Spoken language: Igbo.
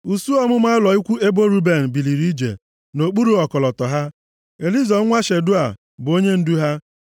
Usuu ọmụma ụlọ ikwu ebo Ruben biliri ije, nʼokpuru ọkọlọtọ ha. Elizọ nwa Shedeua bụ onyendu ha.